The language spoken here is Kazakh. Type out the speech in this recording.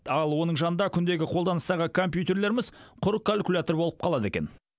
ал оның жанында күндегі қолданыстағы компьютерлеріміз құр калькулятор болып қалады екен